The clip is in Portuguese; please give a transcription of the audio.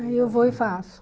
Aí eu vou e faço.